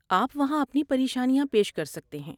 آپ وہاں اپنی پریشانیاں پیش کر سکتے ہیں۔